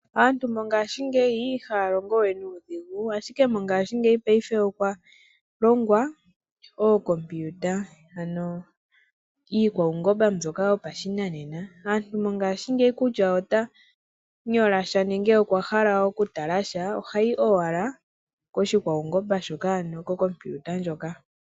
Aantu mongashingeyi ihaya longo we nuudhigu ashike mongashingeyi paife okwa longwa ookompiuta ano iikwaungomba mbyoka yo pashinanena. Aantu mongashingeyi kutya ota nyola sha nenge okwa hala oku tala sha, ohayi owala ko shikwaungomba shoka ano ko kompiuta ndyoka.